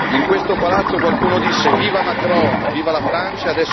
In questo palazzo, qualcuno disse Viva Macron, viva la Francia!,